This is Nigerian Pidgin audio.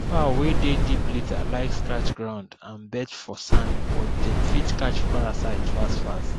fowl wey dey deep litter like scratch ground and bath for sand but dem fit catch parasite fast fast